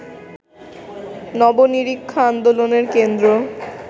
নব-নিরীক্ষা আন্দোলনের কেন্দ্র